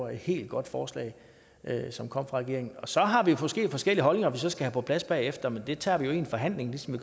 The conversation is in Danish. helt godt forslag som kom fra regeringen så har vi måske forskellige holdninger vi så skal have på plads bagefter men det tager vi jo i en forhandling ligesom